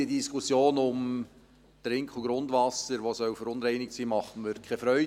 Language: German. Die Diskussion um Trink- und Grundwasser, das verunreinigt sein soll, macht mir keine Freude.